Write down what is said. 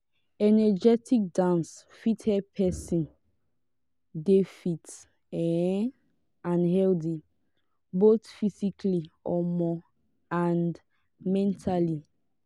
energetic dance fit help person dey fit um and healthy both physically um and mentally